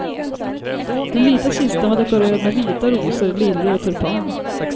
Den vita kistan var dekorerad med vita rosor, liljor och tulpaner.